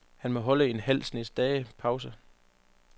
Han må holde en halv snes dages pause.